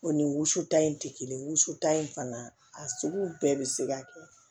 O ni wusuta in tɛ kelen ye wusuta in fana a sugu bɛɛ bɛ se ka kɛ